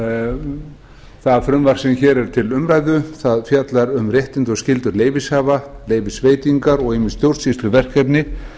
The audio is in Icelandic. það frumvarp sem hér er til umræðu fjallar um réttindi og skyldur leyfishafa leyfisveitingar og ýmis stjórnsýsluverkefni